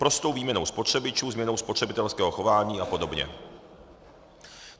Prostou výměnou spotřebičů, změnou spotřebitelského chování a podobně.